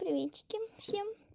приветики всем